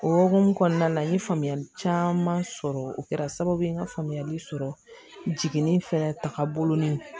O hokumu kɔnɔna la n ye faamuyali caman sɔrɔ o kɛra sababu ye n ka faamuyali sɔrɔ jiginni fɛnɛ tagabolo